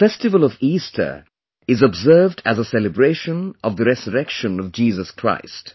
The festival of Easter is observed as a celebration of the resurrection of Jesus Christ